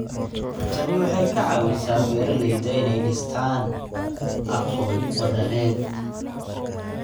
Tani waxay ka caawisaa beeralayda inay dhistaan ??aqoon wadareed.